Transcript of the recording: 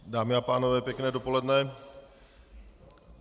Dámy a pánové, pěkné dopoledne.